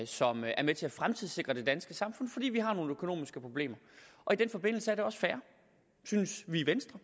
som er med til at fremtidssikre det danske samfund fordi vi har nogle økonomiske problemer i den forbindelse er det også fair synes vi i venstre